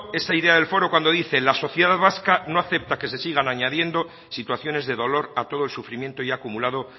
esa idea del foro cuando dice la sociedad vasca no acepta que se sigan añadiendo situaciones de dolor a todo el sufrimiento ya acumulado